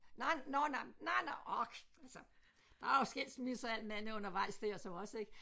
Nej nåh nej nej nåh ok altså der er jo skilsmisser og alt andet undervejs der også ik